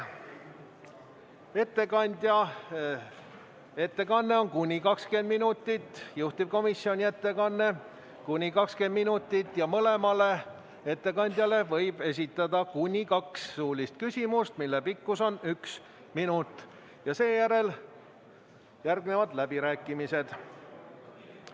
Ettekandja ettekanne on kuni 20 minutit ja juhtivkomisjoni ettekanne kuni 20 minutit, mõlemale ettekandjale võib esitada kuni kaks suulist küsimust, mille pikkus on üks minut, ja seejärel järgnevad läbirääkimised.